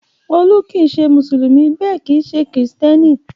Olú kì í ṣe Mùsùlùmí bẹ́ẹ̀ kì í ṣe Kìrìtẹ́ẹ́nì.